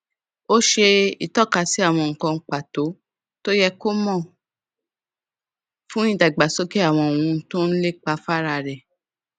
ó ṣe ìtọkasí àwọn nǹkan pàtó tó yẹ kó mò fún ìdàgbà àwọn ohun tó n lépa fára rẹ